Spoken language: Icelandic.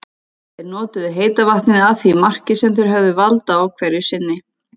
Þeir notuðu heita vatnið að því marki sem þeir höfðu vald á hverju sinni.